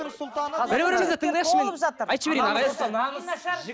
бір бірімізді тыңдайықшы мен